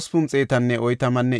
Adonqaama yarati 667;